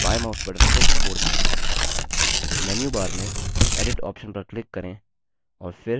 menu bar में edit option पर click करें और फिर fill option पर click करें